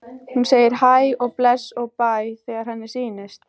Hún segir hæ og bless og bæ þegar henni sýnist!